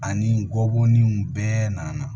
Ani n kɔboninw bɛɛ nana